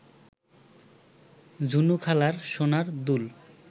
ঝুনুখালার সোনার দুল